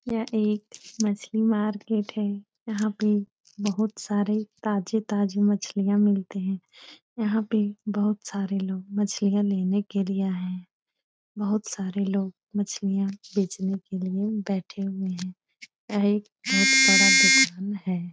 यह एक मछली मार्केट है यहाँ पे बहुत सारे ताजे-ताजे मछलियाँ मिलते हैं यहाँ पे बहुत सारे लोग मछलियाँ लेने के लिए आए हैं बहुत सारे लोग मछलियाँ बेचने के लिए बैठे हुए हैं यह एक बहुत बड़ा दूकान है।